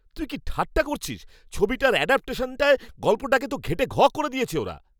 তুই কি ঠাট্টা করছিস? ছবিটার অ্যাডাপটেশনটায় গল্পটাকে তো ঘেঁটে ঘ করে দিয়েছে ওরা!